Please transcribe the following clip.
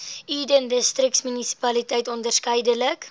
eden distriksmunisipaliteit onderskeidelik